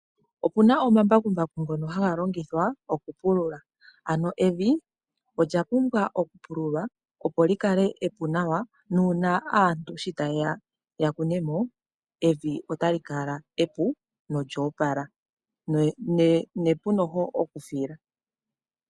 Opuna omambakumbaku ngono haga longithwa oku pulula, ano evi olya pumbwa oku pululwa opo li kale epu nawa na uuna aantu shi ta yeya ya kune mo, evi ota li kala epu nolya opala na epu oku fila.